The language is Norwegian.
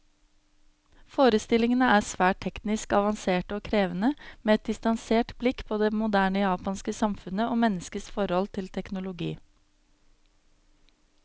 Forestillingene er svært teknisk avanserte og krevende, med et distansert blikk på det moderne japanske samfunnet, og menneskets forhold til teknologi.